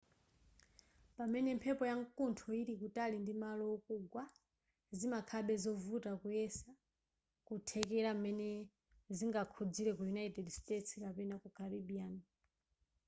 pamene mphepo yamkuntho ili kutali ndi malo okugwa zimakhalabe zovuta kuyesa kuthekera m'mene zingakhuzire ku united states kapena ku caribbean